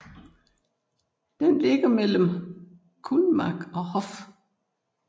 Den ligger mellem Kulmbach og Hof